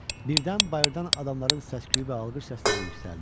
Birdən bayırdan adamların səs-küyü və alqış səsləri yüksəldi.